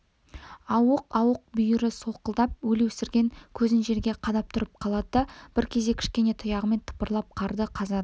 ауық-ауық бүйірі солқылдап өлеусіреген көзін жерге қадап тұрып қалады да бір кезде кішкене тұяғымен тыпырлап қарды қазады